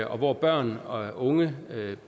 og hvor børn og unge